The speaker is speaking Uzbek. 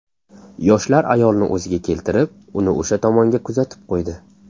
Yoshlar ayolni o‘ziga keltirib, uni o‘sha tomonga kuzatib qo‘ydi.